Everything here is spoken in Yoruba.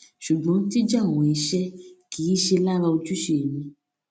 ṣùgbọn jíjẹ àwọn iṣẹ kì í ṣe lára ojúṣe mi